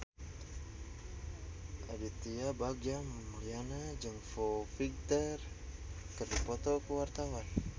Aditya Bagja Mulyana jeung Foo Fighter keur dipoto ku wartawan